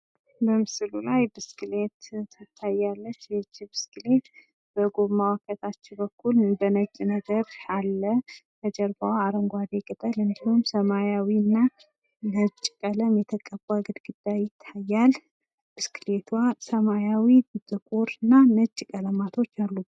በምስሉ ላይ ብስክሌት ትታያለች ይህቺ ብስክሌት በጎማዋ በታች በኩል በነጭ ነገር አለ። በጀርባው አረንጓዴ ቅጠል እንዲሁም ሰማያዊ እና ነጭ ቀለም የተቀባ ግድግድዳ ይታያል። ብስክሌቷ ሰማያዊ ጥቁር እና ነጭ ቀለማቶች ያሉባት ናት።